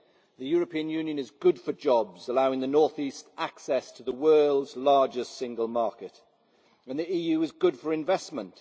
The European Union is good for jobs, allowing the North East access to the world's largest single market, and the EU is good for investment.